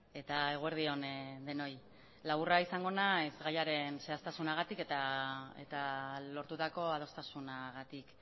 eta eguerdi on denoi laburra izango naiz gaiaren zehaztasunagatik eta lortutako adostasunagatik